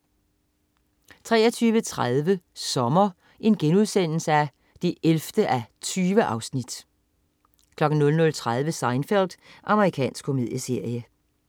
23.30 Sommer 11:20* 00.30 Seinfeld. Amerikansk komedieserie